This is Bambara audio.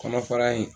Kɔnɔfara in